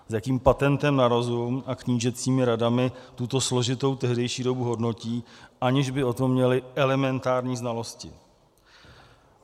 S jakým patentem na rozum a knížecími radami tuto složitou tehdejší dobu hodnotí, aniž by o tom měli elementární znalosti.